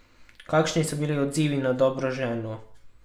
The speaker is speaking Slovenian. Kakšni pa so bili odzivi na Dobro ženo?